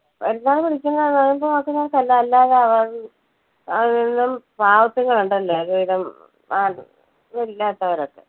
പെരുന്നാള് പിടിക്കുന്ന നോയമ്പ് നോർക്കുന്നവർക്ക് അല്ല അല്ലാതെ പാവത്തുങ്ങൾ ഉണ്ടല്ലോ, ഒന്നും ഇല്ലാത്തവരൊക്കെ.